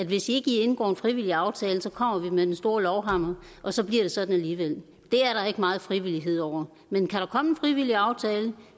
hvis ikke i indgår en frivillig aftale kommer vi med den store lovhammer og så bliver det sådan alligevel det er der ikke meget frivillighed over men kan der komme en frivillig aftale